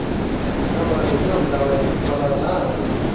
ஆமா செய்யணும்ல அவன் சொன்னதெல்லாம்.